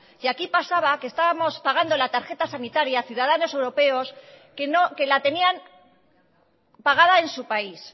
y aquí pasaba que estábamos pagando la tarjeta sanitaria a ciudadanos europeos que la tenían pagada en su país